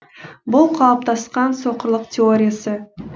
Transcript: бұл қалыптасқан соқырлық теориясы